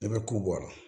Ne bɛ kuwa